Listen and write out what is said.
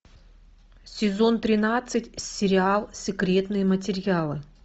сезон тринадцать сериал секретные материалы